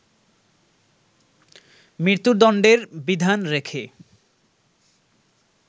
মৃত্যুদন্ডের বিধান রেখে